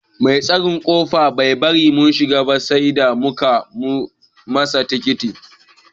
Mai tsaron kofa Bai bari mun shiga ba sai da muka nuna masa tikitin.